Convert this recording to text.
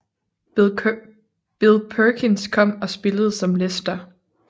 Bill Perkins kom og spillede som Lester